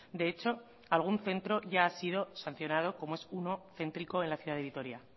de hecho algún centro ya ha sido sancionado como es uno céntrico en la ciudad de vitoria